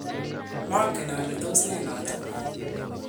mangen ale tos ne noto